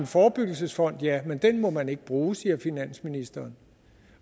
forebyggelsesfonden ja men den må man ikke bruge siger finansministeren